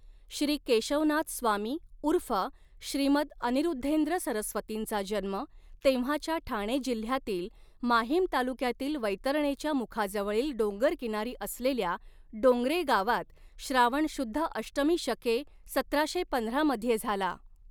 श्री केशवनाथ स्वामी ऊर्फ श्रीमत् अनिऋद्धेंद्र सरस्वतींंचा जन्म तेव्हाच्या ठाणे जिल्ह्यातील माहीम तालुक्यातील वैतरणेच्या मुखाजवळील डोंगरकिनारी असलेल्या डोंगरेगावात श्रावण शुद्ध अष्टमी शके सतराशे पंधरा मध्ये झाला.